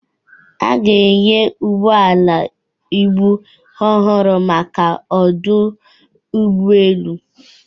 A ga-enye ụgbọ ala ibu ọhụrụ maka ọdụ ụgbọ elu